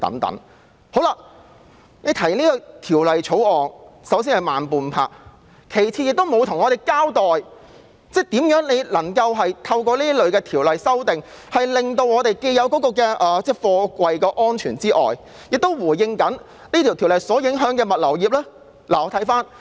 首先，政府提出《條例草案》已慢半拍；其次，政府沒有向我們交代，如何透過修訂這類條例，既能達到貨櫃安全，又能回應條例所影響的物流業的需要。